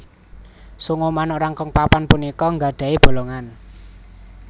Sungu manuk Rangkong papan punika nggadhahi bolongan